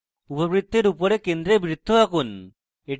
উপবৃতের উপরের কেন্দ্রে বৃত্ত রাখুন